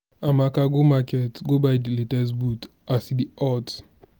amaka go market go buy di latest boot as e dey hot.